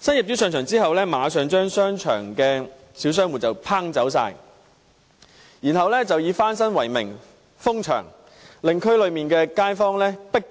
新業主在上場後，馬上將商場的小商戶趕走，然後以翻新為名封閉商場，令區內街坊被迫